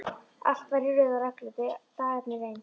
Allt var í röð og reglu, dagarnir eins.